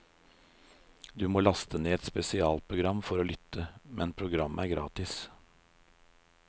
Du må laste ned et spesialprogram for å lytte, men programmet er gratis.